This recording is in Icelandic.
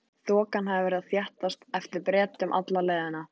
Þokan hafði verið að þéttast á eftir Bretum alla leiðina.